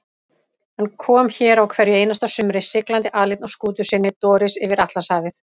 Hann kom hér á hverju einasta sumri, siglandi aleinn á skútu sinni Doris yfir Atlantshafið.